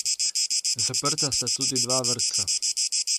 Zaprta sta tudi dva vrtca.